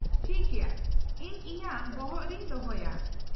-ᱴᱷᱤᱠ ᱜᱮᱭᱟ ᱾ ᱤᱧ ᱤᱧᱟᱹᱜ ᱵᱚᱦᱚᱜ ᱨᱮᱧ ᱫᱚᱦᱚᱭᱮᱫᱟ ᱾